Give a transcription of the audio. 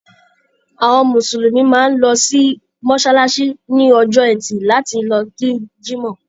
Àwọn Mùsùlùmí máa ń lọ sí mọ́ṣáláṣí ní Ọjọ́ẹtì láti lọ kí Jímọ̀.